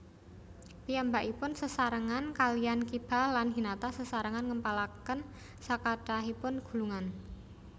Piyambakipun sesarengan kaliyan Kiba lan Hinata Sesarengan ngempalaken sakathahipun gulungan